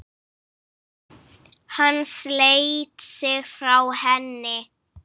Hann sleit sig frá henni.